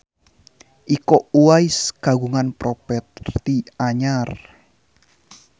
Iko Uwais kagungan properti anyar